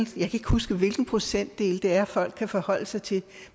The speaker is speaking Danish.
kan ikke huske hvilken procentdel det er folk kan forholde sig til